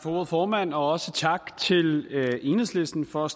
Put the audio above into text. ordet formand og også tak til enhedslisten for at